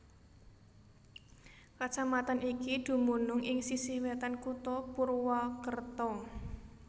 Kacamatan iki dumunung ing sisih wétan kutha Purwakerta